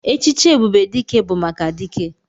Echichi ebube dike bu maka dike.